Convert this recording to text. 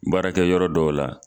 Baarakɛ yɔrɔ dɔw la.